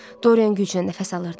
Dorian güclə nəfəs alırdı.